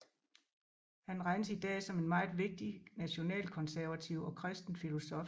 Han regnes idag som en meget vigtig nationalkonservativ og kristen filosof